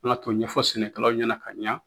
Kanga k'o ɲɛfɔ sɛnɛkɛlaw ɲɛna ka ɲa